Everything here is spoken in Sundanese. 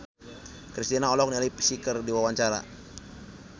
Kristina olohok ningali Psy keur diwawancara